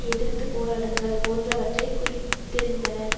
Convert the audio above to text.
எதிர்த்து போராடுங்கள் போன்றவற்றை குறித்திருந்தனர்